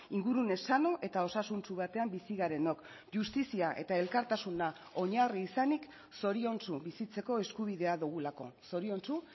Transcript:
ingurune sano eta osasuntsu batean bizi garenok justizia eta elkartasuna oinarri izanik zoriontsu bizitzeko eskubidea dugulako zoriontsu